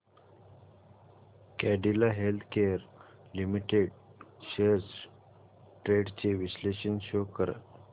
Cadila healthcare limited shares trends चे विश्लेषण show कर